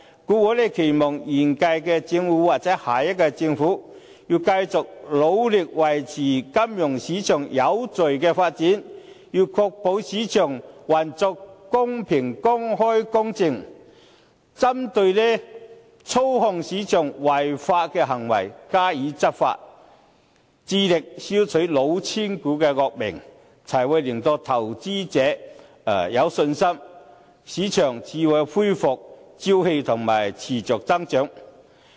故此，我期望現屆或下屆政府要繼續努力維持金融市場有序的發展，確保市場運作公平、公開、公正，針對操控市場等違法行為，加以執法，致力消除"老千股"的惡名，才會令到投資者有信心，市場才可以恢復朝氣和持續增長。